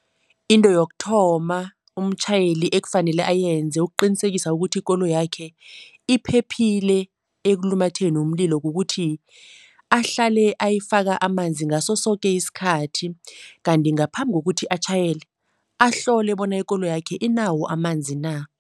Into yokuthoma umtjhayeli ekufanele ayenze ukuqinisekisa ukuthi ikoloyakhe iphephile ekulumatheni umlilo kukuthi ahlale ayifaka amanzi ngaso soke isikhathi kanti ngaphambi kokuthi atjhayele, ahlole bona ikoloyakhe inawo amanzi na.